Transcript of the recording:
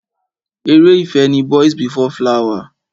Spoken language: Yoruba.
Ere ìfẹ́ ni Boys before flower.